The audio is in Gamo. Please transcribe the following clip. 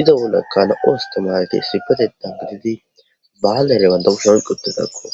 iza bollakka na7o asthimaarethi isssipetheththan gididi baanere banththa kushen oyqqi uththidakko.